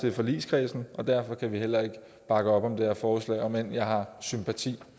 i forligskredsen og derfor kan vi heller ikke bakke op om det her forslag om end jeg har sympati